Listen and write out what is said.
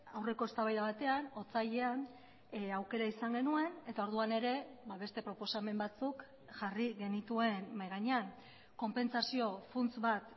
aurreko eztabaida batean otsailean aukera izan genuen eta orduan ere beste proposamen batzuk jarri genituen mahai gainean konpentsazio funts bat